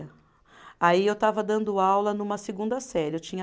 Aí eu estava dando aula numa segunda série. Eu tinha